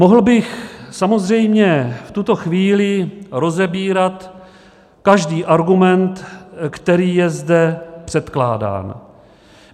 Mohl bych samozřejmě v tuto chvíli rozebírat každý argument, který je zde předkládán.